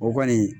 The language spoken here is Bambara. O kɔni